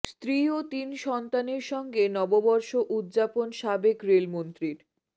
স্ত্রী ও তিন সন্তানের সঙ্গে নববর্ষ উদযাপন সাবেক রেলমন্ত্রীর